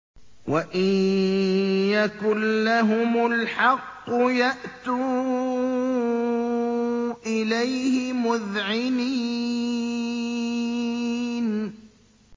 وَإِن يَكُن لَّهُمُ الْحَقُّ يَأْتُوا إِلَيْهِ مُذْعِنِينَ